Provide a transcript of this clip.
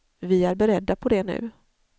Vi är beredda på det nu.